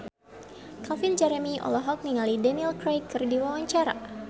Calvin Jeremy olohok ningali Daniel Craig keur diwawancara